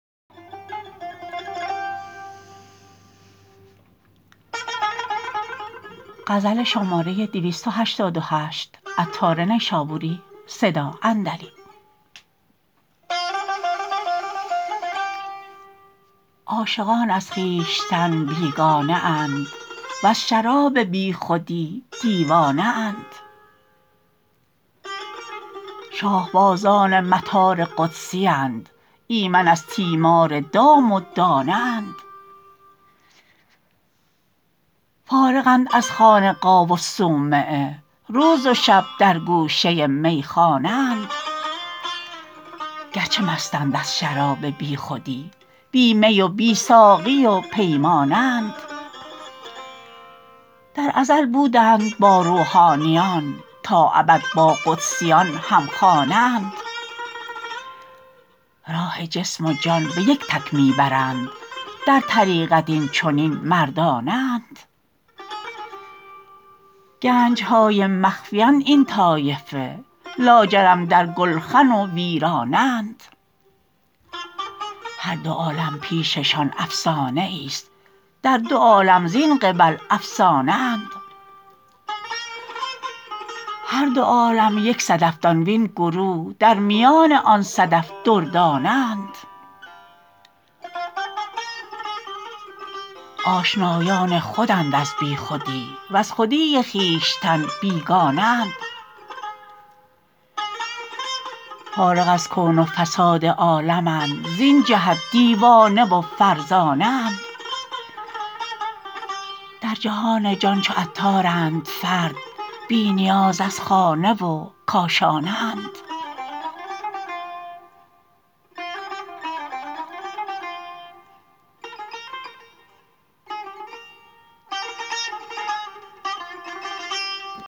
عاشقان از خویشتن بیگانه اند وز شراب بیخودی دیوانه اند شاه بازان مطار قدسیند ایمن از تیمار دام و دانه اند فارغند از خانقاه و صومعه روز و شب در گوشه میخانه اند گرچه مستند از شراب بیخودی بی می و بی ساقی و پیمانه اند در ازل بودند با روحانیان تا ابد با قدسیان هم خانه اند راه جسم و جان به یک تک می برند در طریقت این چنین مردانه اند گنج های مخفی اند این طایفه لاجرم در گلخن و ویرانه اند هر دو عالم پیش شان افسانه ای است در دو عالم زین قبل افسانه اند هر دوعالم یک صدف دان وین گروه در میان آن صدف دردانه اند آشنایان خودند از بیخودی وز خودی خویشتن بیگانه اند فارغ از کون و فساد عالمند زین جهت دیوانه و فرزانه اند در جهان جان چو عطارند فرد بی نیاز از خانه و کاشانه اند